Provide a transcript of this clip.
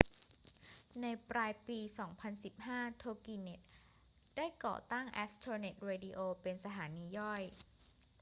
ในปลายปี 2015 toginet ได้ก่อตั้ง astronet radio เป็นสถานีย่อย